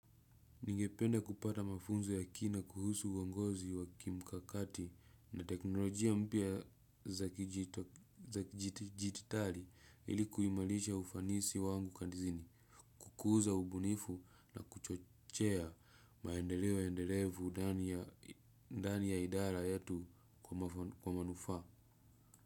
Ningepende kupata mafunzo ya kina kuhusu uongozi wa kimkakati na teknolojia mpya za kidigitari ili kuimarisha ufanisi wangu kazini, kukuza ubunifu na kuchochea maendeleo endelevu ndani ya idara yetu kwa manufaa.